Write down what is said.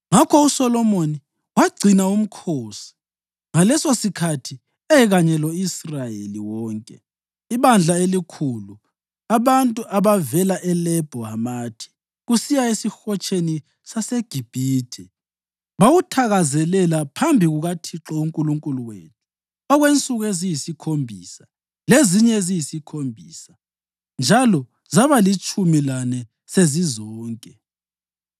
Ngakho uSolomoni wagcina umkhosi ngalesosikhathi ekanye lo-Israyeli wonke, ibandla elikhulu, abantu abavela eLebho Hamathi kusiya eSihotsheni saseGibhithe. Bawuthakazelela phambi kukaThixo uNkulunkulu wethu okwensuku eziyisikhombisa lezinye eziyisikhombisa njalo zaba litshumi lane sezizonke.